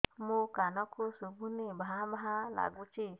ମୋ କାନକୁ ଶୁଭୁନି ଭା ଭା ଲାଗୁଚି